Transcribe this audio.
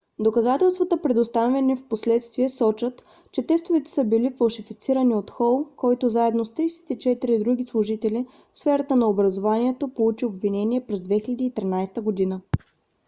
доказателствата предоставени впоследствие сочат че тестовете са били фалшифицирани от хол който заедно с 34 други служители в сферата на образованието получи обвинение през 2013 година